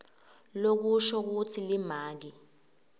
lokusho kutsi limaki